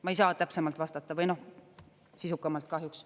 Ma ei saa täpsemalt vastata või sisukamalt kahjuks.